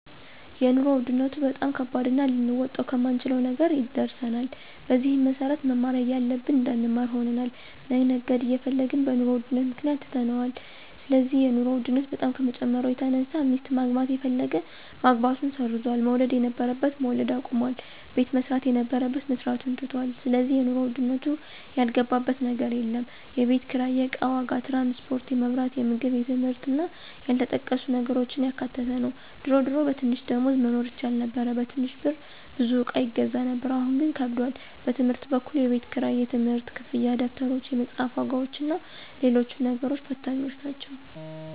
የኑሮ ውድነቱ በጣም ከባድና ልንወጣው ከማንችለው ነገር ደርሰናል። በዚህም መሰረት መማር እያለብን እንዳንማር ሆነናል፣ መነገድ እየፈለግን በኑሮ ውድነቱ ምክንያት ትተነዋል ስለዚህ የኑሮ ውድነቱ በጣም ከመጨመሩ የተነሳ ሚስት ማግባት የፈለገ ማግባቱን ሰርዟል፣ መውለድ የነበረበት መውለድ አቁሟል፣ ቤት መስራት የነበረበት መስራቱን ትቶታል ስለዚህ የኑሮ ውድነቱ ያልገባበት ነገር የለም፣ የቤት ኪራይ፣ የእቃ ዋጋ፣ ትራንስፖርት፣ የመብራት፣ የምግብ የትምህርት እና ያልተጠቀሱ ነገሮችን ያካተተ ነው ድሮ ድሮ በትንሽ ደሞዝ መኖር ይቻል ነበር በትንሽ ብር ብዙ እቃ ይገዛ ነበር አሁን ግን ከብዷል። በትምህርት በኩል የቤት ክራይ፣ የትምህርት ክፍያ፣ ደብተሮች፣ የመፅሐፍ ዋጋዎችና ሎሎችም ነገሮች ፈታኞች ናቸው።